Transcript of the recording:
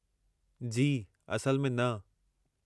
जी, असल में न।